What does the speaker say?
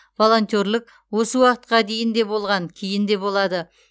волонтерлік осы уақытқа дейін де болған кейін де болады